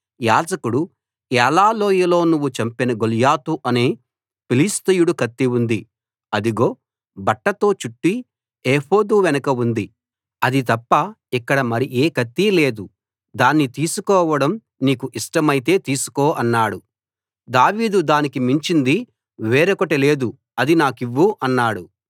యాజకుడు ఏలా లోయలో నువ్వు చంపిన గొల్యాతు అనే ఫిలిష్తీయుడి కత్తి ఉంది అదిగో బట్టతో చుట్టి ఏఫోదు వెనక ఉంది అది తప్ప ఇక్కడ మరి ఏ కత్తీ లేదు దాన్ని తీసుకోవడం నీకు ఇష్టమైతే తీసికో అన్నాడు దావీదు దానికి మించింది వేరొకటి లేదు అది నాకివ్వు అన్నాడు